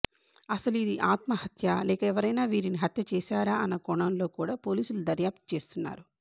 అసలు ఇది ఆత్మహత్యా లేక ఎవరైనా వీరిని హత్య చేశారా అన్న కోణంలో కూడా పోలీసులు దర్యాప్తు చేస్తున్నారు